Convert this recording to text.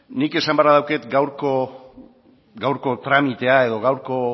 nik esan beharra daukat gaurko tramitea edo gaurko